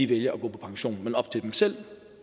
vælger at gå på pension men op til dem selv